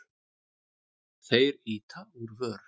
Þeir ýta úr vör.